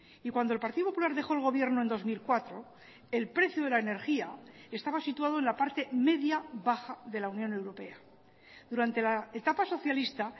y cuando el partido popular dejó el gobierno en dos mil cuatro el precio de la energía estaba situado en la parte media baja de la unión europea durante la etapa socialista